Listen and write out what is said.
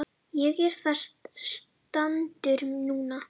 Ég er þar staddur núna.